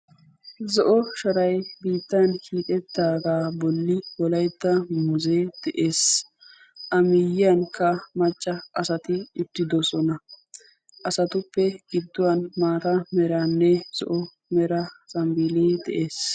zo''o sharay biittan hiixxetaaga bolli wolaytta muuze de'ees. a miyyiyankka macca asati uttidoosona. asatuppe gidduwan maata meranne zo'o mera zambbile de'ees.